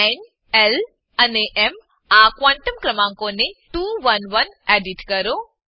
ન એલ અને એમ આ ક્વોન્ટમ ક્રમાંકોને 2 1 1 એડીટ કરો